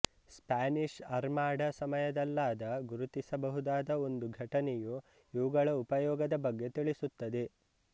Spanish Armada ಸಮಯದಲ್ಲಾದ ಗುರುತಿಸಬಹುದಾದ ಒಂದು ಘಟನೆಯು ಇವುಗಳ ಉಪಯೋಗದ ಬಗ್ಗೆ ತಿಳಿಸುತ್ತದೆ